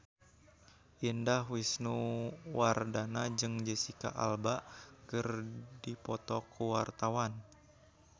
Indah Wisnuwardana jeung Jesicca Alba keur dipoto ku wartawan